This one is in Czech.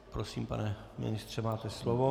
Prosím, pane ministře, máte slovo.